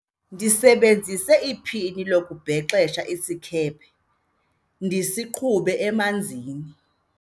ndisebenzise iphini lokubhexa ukuze isikhephe ndisiqhube emanzini